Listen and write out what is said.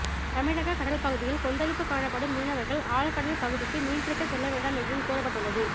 தமிழக கடல் பகுதியில் கொந்தளிப்பு காணப்படும் மீனவர்கள் ஆழ்கடல் பகுதிக்கு மீன் பிடிக்க செல்ல வேண்டாம் என்றும் கூறப்பட்டுள்ளது